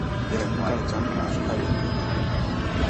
вероника александровна сухаренко